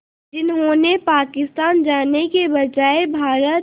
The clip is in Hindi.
जिन्होंने पाकिस्तान जाने के बजाय भारत